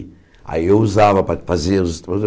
Aí eu usava para fazer os